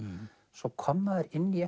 svo kom maður inn í